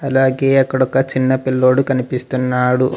అలాగే అక్కడ ఒక చిన్న పిల్లోడు కనిపిస్తున్నాడు.